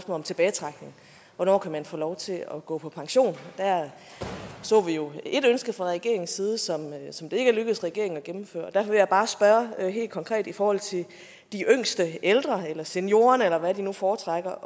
om tilbagetrækning hvornår kan man få lov til at gå på pension der så vi jo et ønske fra regeringens side som som det ikke er lykkedes regeringen at gennemføre og derfor vil jeg bare spørge helt konkret i forhold til de yngste ældre eller seniorerne eller hvad de nu foretrækker